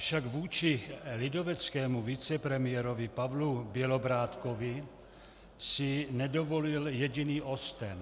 Avšak vůči lidoveckému vicepremiérovi Pavlu Bělobrádkovi si nedovolil jediný osten.